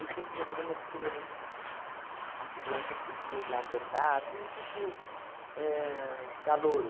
tinha um programa de criança, que a criança podia ir lá cantar, assim, tipo éh calouro.